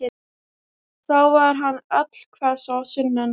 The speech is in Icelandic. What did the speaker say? Þá var hann allhvass á sunnan.